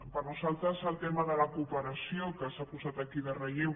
per nosaltres el tema de la cooperació que s’ha posat aquí en relleu